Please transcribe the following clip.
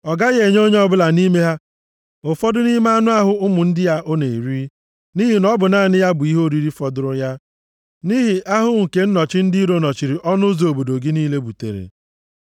Ọ gaghị enye onye ọbụla nʼime ha ụfọdụ nʼime anụ ahụ ụmụ ndị ọ na-eri, nʼihi na ọ bụ naanị ya bụ ihe oriri fọdụrụ ya, nʼihi ahụhụ nke nnọchi ndị iro nọchiri ọnụ ụzọ obodo gị niile butere.